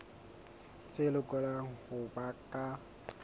tse lokelang ho ba ka